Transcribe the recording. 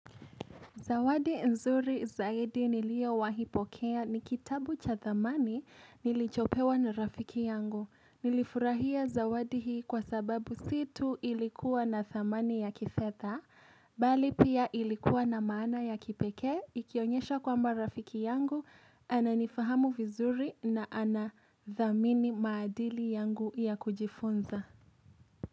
Zawadi nzuri zaidi niliyowahi pokea ni kitabu cha thamani nilichopewa na rafiki yangu. Nilifurahia zawadi hii kwa sababu sio tu ilikuwa na thamani ya kifedha, bali pia ilikuwa na maana ya kipekee, ikionyesha kwamba rafiki yangu ananifahamu vizuri na anathamini maadili yangu ya kujifunza.